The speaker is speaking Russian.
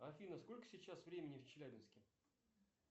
афина сколько сейчас времени в челябинске